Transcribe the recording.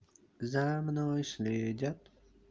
за мной следят